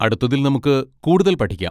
അടുത്തതിൽ നമുക്ക് കൂടുതൽ പഠിക്കാം.